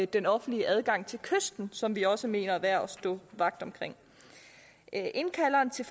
den offentlige adgang til kysten som vi også mener er værd at stå vagt omkring indkalderen til